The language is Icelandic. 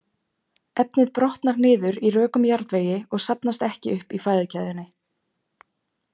Efnið brotnar niður í rökum jarðvegi og safnast ekki upp í fæðukeðjunni.